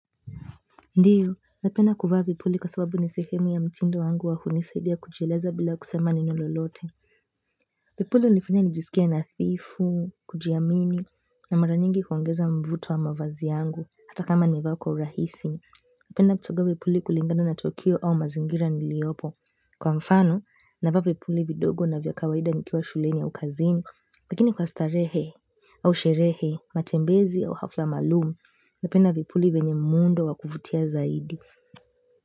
Ndiyo, napenda kuvaa vipuli kwa sababu nisehemu ya mtindo wangu wa hunisaidia kujieleza bila kusema neno lolote. Vipuli hunifanya nijisikie nadhifu, kujiamini, na mara nyingi huongeza mvuto wa mavazi yangu, hata kama nime vaa kwa urahisi. Napenda kuchagua vipuli kulingana na tukio au mazingira niliopo kwa mfano, na vaa vipuli vidogo na vya kawaida nikiwa shuleni au kazini, lakini kwa starehe au sherehe, matembezi au hafla maalumu, napenda vipuli venye mundo wa kuvutia zaidi.